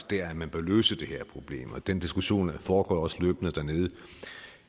der man bør løse det her problem og den diskussion foregår jo også løbende dernede